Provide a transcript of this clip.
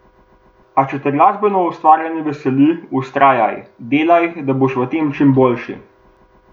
A če te glasbeno ustvarjanje veseli, vztrajaj, delaj, da boš v tem čim boljši.